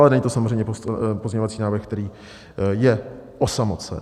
Ale není to samozřejmě pozměňovací návrh, který je osamocen.